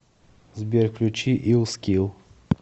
сбер включи ил скил